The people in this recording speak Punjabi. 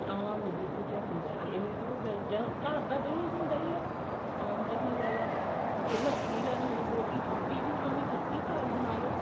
ਆਮ ਜਿਹੋ ਜਿਹਾ ਹੁੰਦਾ ਇਹ ਹੈ ਵੀ ਜਾਂ ਘਰ ਦਾ ਦਹੀਂ ਵੀ ਹੁੰਦਾ ਹੀ ਹੈ ਆਮ ਦਹੀਂ ਲੈਲਾ ਜੇ ਲੱਸੀ ਲੈਣੀ ਹੈ ਬਹੁਤੀ ਖੱਟੀ ਵੀ ਖਾਣੀ ਖੱਟੀ ਬਣਾਲੋ